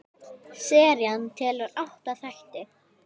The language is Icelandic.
Serían telur átta þætti.